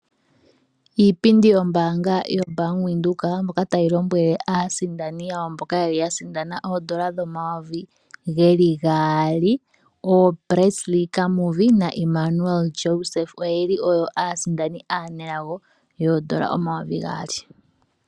Iipindi yombaanga yotango yopashigwana mbyoka tayi lombwele aasindani yawo yaali, mboka ya sindana iimaliwa yoodola dhaNamibia omayovi gaali (N$ 2000), oyo Presley Kamuvi na Immanuel Joseph, oye aa sindani aanelago.